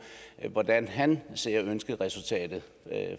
hvordan han ser ønskeresultatet